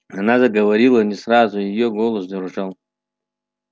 она заговорила не сразу и её голос дрожал